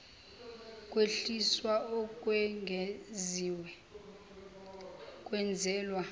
kwehliswa okwengeziwe kwenzelwa